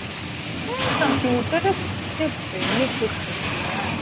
computer ର କେତେ benefits ଅଛି ୟାର